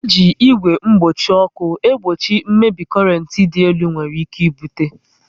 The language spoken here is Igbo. E ji igwe mgbochi ọkụ egbochi mmebi korent dị elu nwere ike ibute